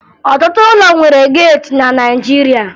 Ọtụtụ ụlọ nwere geeti na Naịjirịa